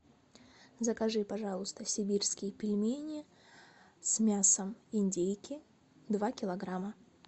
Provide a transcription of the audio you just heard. закажи пожалуйста сибирские пельмени с мясом индейки два килограмма